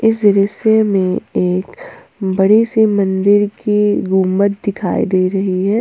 ज़रीस्य में एक बड़ी से मंदिर की गुंबद दिखाई दे रही है।